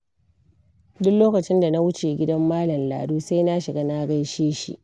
Duk lokacin da na wuce gidan Malam Lado, sai na shiga na gaishe shi.